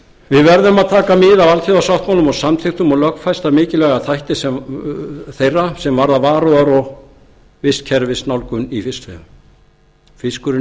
við verðum að taka mið af alþjóðasáttmálum og samþykktum og lögfesta mikilvæga þætti þeirra sem varða meðal annars varúðar og vistkerfisnálgun í fiskveiðum fiskurinn í